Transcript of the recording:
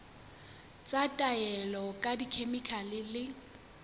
tsa taolo ka dikhemikhale le